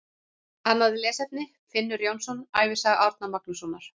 Annað lesefni: Finnur Jónsson, Ævisaga Árna Magnússonar.